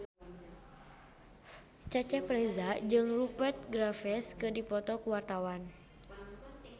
Cecep Reza jeung Rupert Graves keur dipoto ku wartawan